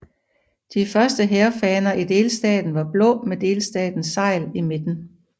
De første hærfaner i delstaten var blå med delstatens segl i midten